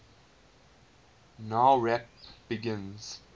nowrap begin